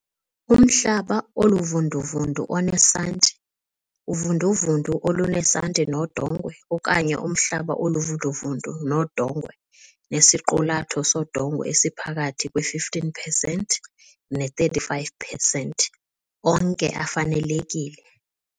Umhlaba oluvunduvundu onesanti, uvunduvundu olunesanti nodongwe okanye umhlaba oluvunduvundu nodongwe nesiqulatho sodongwe esiphakathi kwe-15 percent ne-35 percent onke afanelekile.